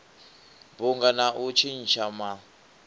bunga na u tshintsha ma